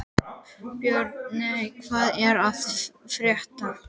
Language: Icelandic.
Björney, hvað er að frétta?